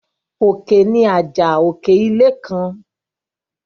Òkè ni àjà òkè ilé kan.